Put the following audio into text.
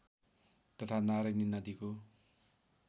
तथा नारायणी नदीको